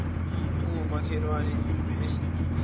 ongumakhelwane umi esitubhini